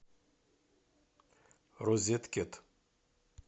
розеткед